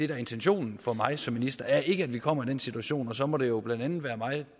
er intentionen for mig som minister ikke er at vi kommer i den situation og så må det jo blandt andet være mig